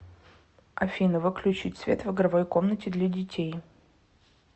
афина выключить свет в игровой комнате для детей